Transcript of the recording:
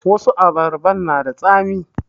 Wasu abarban na da tsami